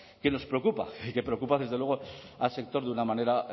que nos preocupa y que preocupa desde luego al sector de una manera